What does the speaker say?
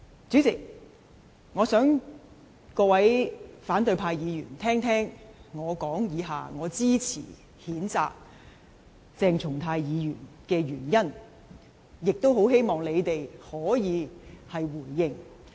主席，我想各位反對派議員聆聽，我以下發言支持譴責鄭松泰議員的原因，亦很希望他們可以回應。